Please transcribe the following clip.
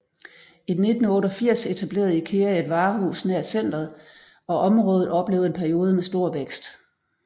I 1988 etablerede IKEA et varehus nær centret og området oplevede en periode med stor vækst